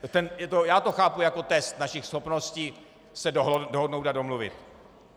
Já to chápu jako test našich schopností se dohodnout a domluvit.